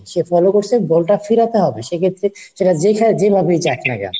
সে follow করছে ball টা ফেরাতে হবে সেক্ষেত্রে সেটা যেখানে যেভাবেই যাক না কেন।